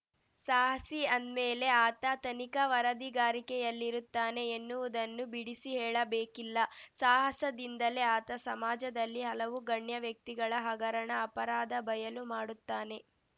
ಸಾಹಸಿ ಅಂದ್ಮೇಲೆ ಆತ ತನಿಖಾ ವರದಿಗಾರಿಕೆಯಲ್ಲಿರುತ್ತಾನೆ ಎನ್ನುವುದನ್ನು ಬಿಡಿಸಿ ಹೇಳಬೇಕಿಲ್ಲ ಸಾಹಸದಿಂದಲೇ ಆತ ಸಮಾಜದಲ್ಲಿ ಹಲವು ಗಣ್ಯ ವ್ಯಕ್ತಿಗಳ ಹಗರಣ ಅಪರಾಧ ಬಯಲು ಮಾಡುತ್ತಾನೆ